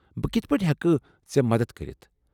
بہٕ کتھہٕ پٲٹھۍ ہٮ۪کہٕ ژے٘ مدتھ کٔرِتھ؟